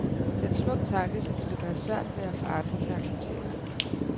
Det er en smuk tanke, som de dog kan have svært ved at få andre til at acceptere.